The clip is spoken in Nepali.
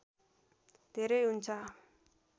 धेरै हुन्छ